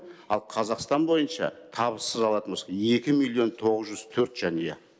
ал қазақстан бойынша табыссыз алатын болсақ екі миллион тоғыз жүз төрт жанұя